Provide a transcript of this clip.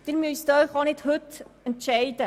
Sie müssen sich nicht heute entscheiden.